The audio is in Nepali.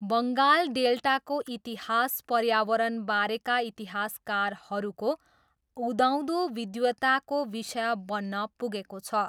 बङ्गाल डेल्टाको इतिहास पर्यावरणबारेका इतिहासकारहरूको उदाउँदो विद्वताको विषय बन्न पुगेको छ।